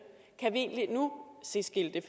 kan vi egentlig nu se skilte